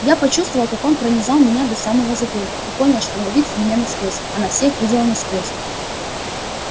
я почувствовал как он пронизал меня до самого затылка и понял что она видит меня насквозь она всех видела насквозь